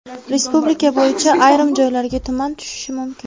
Respublika bo‘yicha ayrim joylarga tuman tushishi mumkin.